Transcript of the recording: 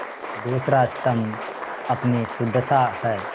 दूसरा स्तम्भ अपनी सुदशा है